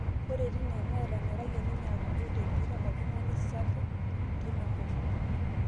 Ore etii nane etonyorayie ninye apuku tempira ooltung'ana sapiuki teinakop